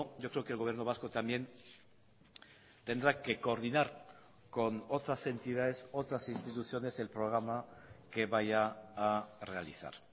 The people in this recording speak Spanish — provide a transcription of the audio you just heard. yo creo que el gobierno vasco también tendrá que coordinar con otras entidades otras instituciones el programa que vaya a realizar